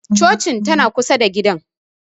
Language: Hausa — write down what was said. Cocin tana kusa da gidan